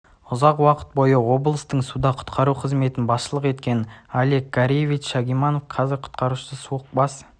ұзақ уақыт бойы облыстың суда құтқару қызметін басшылық еткен олег гареевич шагимарданов нағыз құтқарушы суық бас